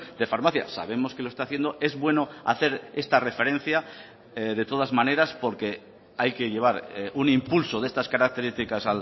de farmacia sabemos que lo está haciendo es bueno hacer esta referencia de todas maneras porque hay que llevar un impulso de estas características